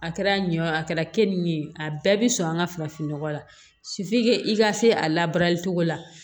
A kɛra ɲɛ o a kɛra keninke ye a bɛɛ bɛ sɔn an ka farafinnɔgɔ la i ka se a labaarali cogo la